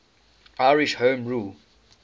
irish home rule